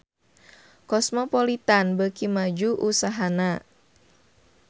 Cosmopolitan beuki maju usahana